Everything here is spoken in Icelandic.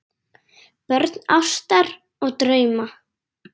Börn ástar og drauma